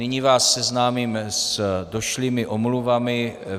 Nyní vás seznámím s došlými omluvami.